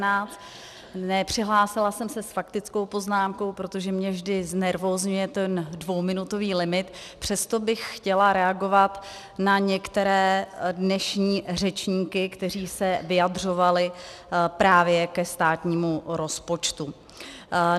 Nepřihlásila jsem se s faktickou poznámkou, protože mě vždy znervózňuje ten dvouminutový limit, přesto bych chtěla reagovat na některé dnešní řečníky, kteří se vyjadřovali právě ke státnímu rozpočtu.